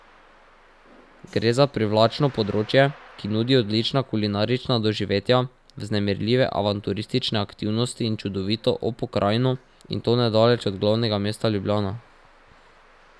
Gre za privlačno področje, ki nudi odlična kulinarična doživetja, vznemirljive avanturistične aktivnosti in čudovito o pokrajino, in to nedaleč od glavnega mesta Ljubljana.